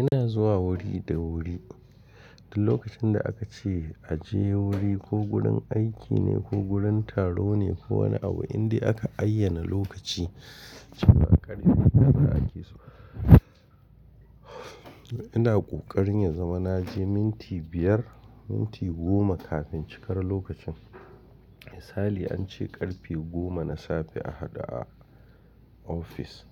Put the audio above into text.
Ina zuwa wuri da wuri. Da lokacin da aka ce a je wuri ko gurin aiki ne ko gurin taro ne ko wani abu, inda aka ayyana lokaci, cikin ƙarfi dai haka ake so. Ina ƙoƙarin ya zama na je minti biyar, minti goma kafin cikar lokacin. Misali an ce ƙarfe goma na safe a haɗu a ofis.